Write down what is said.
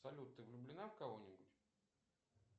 салют ты влюблена в кого нибудь